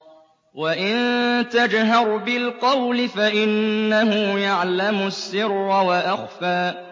وَإِن تَجْهَرْ بِالْقَوْلِ فَإِنَّهُ يَعْلَمُ السِّرَّ وَأَخْفَى